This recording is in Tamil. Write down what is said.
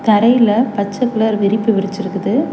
தரையில பச்ச கலர் விரிப்பு விரிச்சிருக்குது.